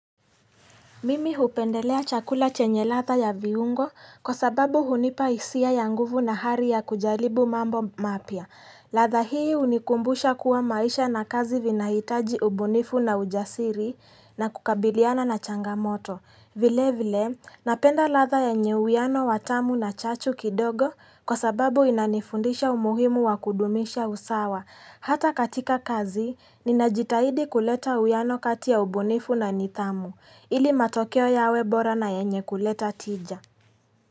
Mimi hupendelea chakula chenye ladha ya viungo kwa sababu hunipa hisia ya nguvu na hari ya kujalibu mambo mapia. Latha hii hunikumbusha kuwa maisha na kazi vinahitaji ubunifu na ujasiri na kukabiliana na changamoto. Vile vile napenda latha ya nye uyano watamu na chachu kidogo kwa sababu inanifundisha umuhimu wa kudumisha usawa. Hata katika kazi, ninajitahidi kuleta uyanokati ya ubunifu na nidhamu, ili matokeo yawebora na yenye kuleta tija.